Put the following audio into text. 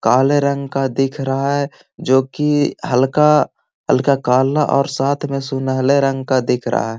काले रंग का दिख रहा है जो कि हल्का हल्का काला और साथ में सुलहने रंग का दिख रहा है।